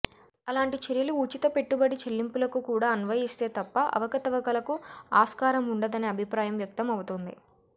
అలాంటి చర్యలు ఉచిత పెట్టుబడి చెల్లింపులకు కూడా అన్వయిస్తే తప్ప అవకతవకలకు ఆస్కారం ఉండదనే అభిప్రాయం వ్యక్తం అవుతుంది